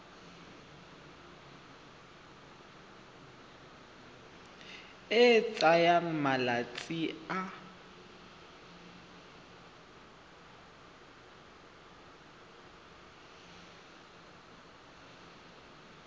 e e tsayang malatsi a